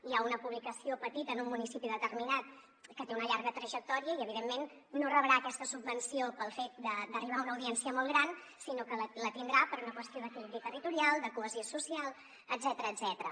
hi ha una publicació petita en un municipi determinat que té una llarga trajectòria i evidentment no rebrà aquesta subvenció pel fet d’arribar a una audiència molt gran sinó que la tindrà per una qüestió d’equilibri territorial de cohesió social etcètera